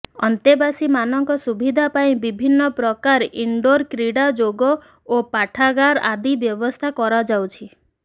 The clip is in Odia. ଅନ୍ତେବାସୀ ମାନଙ୍କ ସୁବିଧା ପାଇଁ ବିଭିନ୍ନ ପ୍ରକାର ଇନଡୋର୍ କ୍ରୀଡ଼ା ଯୋଗ ଓ ପାଠାଗାର ଆଦି ବ୍ୟବସ୍ଥା କରାଯାଉଛି